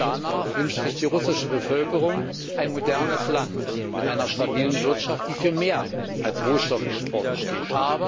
Danach wünscht sich die russische Bevölkerung ein modernes Land mit einer stabilen Wirtschaft, die für mehr als Rohstoffexporte steht.